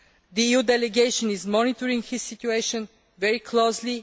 The EU delegation is monitoring his situation very closely.